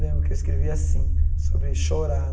Lembro que eu escrevi assim, sobre chorar.